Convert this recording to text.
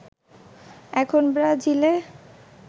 এখন ব্রাজিলে